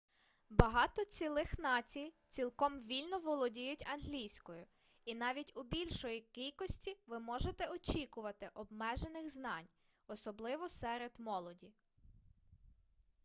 багато цілих націй цілком вільно володіють англійською і навіть у більшої кількості ви можете очікувати обмежених знань особливо серед молоді